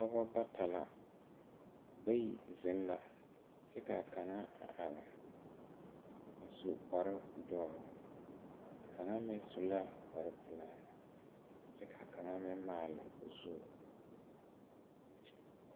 Pɔgebɔ bata la bayi zeŋ la kyɛ kaa kaŋa a are a su kparedɔre a kaŋa meŋ su la kparepelaa kyɛ kaa kaŋa meŋ maale o zu.